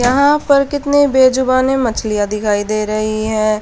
यहां पर कितने बेजुबाने मछलियां दिखाई दे रही है।